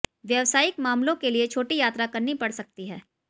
व्यावसायिक मामलों के लिए छोटी यात्रा करनी पड़ सकती है